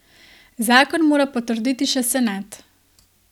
Zakon mora potrditi še senat.